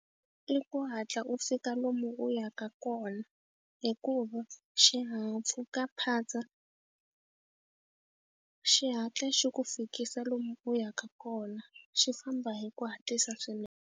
I ku hatla u fika lomu u yaka kona hikuva xihahampfhukaphatsa xi hatla xi ku fikisa lomu u yaka kona, xi famba hi ku hatlisa swinene.